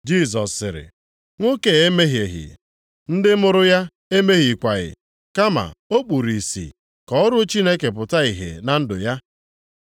Jisọs sịrị, “Nwoke a emehieghị, ndị mụrụ ya emehiekwaghị, kama o kpuru ìsì ka ọrụ Chineke pụta ìhè na ndụ ya.